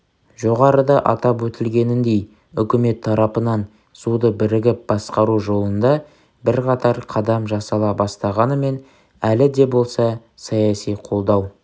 жоғарыда атап өтілгеніндей үкімет тарапынан суды бірігіп басқару жолында бірқатар қадам жасала бастағанымен әлі де болса саяси қолдау